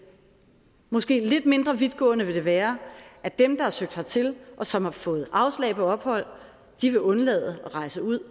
måske lidt mindre vidtgående vil det være at dem der har søgt hertil og som har fået afslag på ophold vil undlade at rejse ud